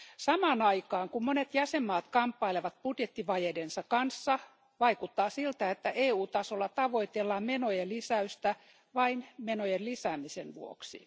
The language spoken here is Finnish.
Samaan aikaan, kun monet jäsenmaat kamppailevat budjettivajeidensa kanssa, vaikuttaa siltä, että EU tasolla tavoitellaan menojen lisäystä vain menojen lisäämisen vuoksi.